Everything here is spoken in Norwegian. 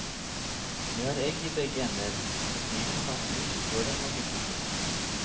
De har egg i begge ender, så kniven kan snus før den må byttes ut.